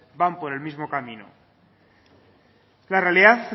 van por el mismo camino la realidad